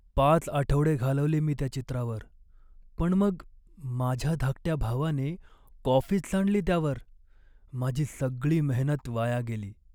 पाच आठवडे घालवले मी त्या चित्रावर पण मग माझ्या धाकट्या भावाने कॉफीच सांडली त्यावर. माझी सगळी मेहनत वाया गेली.